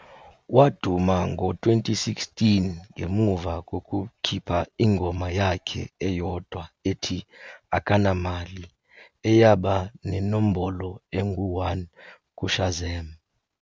Waduma ngo-2016 ngemuva kokukhipha ingoma yakhe eyodwa ethi "Akanamali", eyaba nenombolo engu-1 kuShazam.